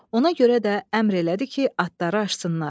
Ona görə də əmr elədi ki, atları açsınlar.